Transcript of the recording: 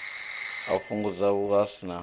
u fhungudza vhushai na u